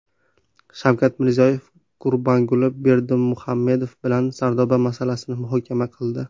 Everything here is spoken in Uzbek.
Shavkat Mirziyoyev Gurbanguli Berdimuhamedov bilan Sardoba masalasini muhokama qildi.